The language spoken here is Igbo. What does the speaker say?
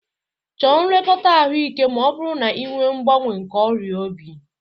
Chọọ nlekọta ahụike ma ọ bụrụ na ị nwe mgbaàmà nke ọrịa obi.